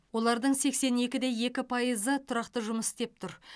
олардың сексен екі де екі пайызы тұрақты жұмыс істеп тұр